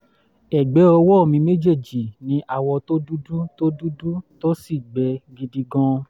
ẹ̀gbẹ́ ọwọ́ mi méjèèjì ní awọ tó dúdú tó dúdú tó sì gbẹ gidi gan-an